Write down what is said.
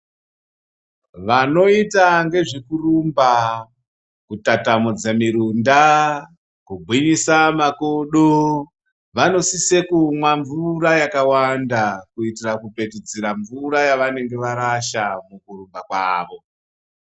Vanoita ngezvekurumba ,kutatamudze mirunda, kugwinyisa makodo, vanosise kumwa mvura yakawanda, kuitira kupetudzira mvura yavanenge varasha mukurumba kwavo.